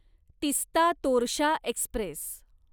Teesta Torsa Express